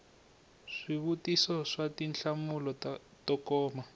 swivutiso swa tinhlamulo to koma